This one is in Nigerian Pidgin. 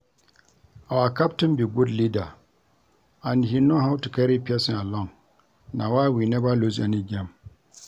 Our captain be good leader and he know how to carry person along na why we never lose any game